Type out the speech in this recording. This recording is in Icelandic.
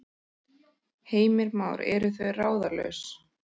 Heimir Már: Eru þau ráðalaus?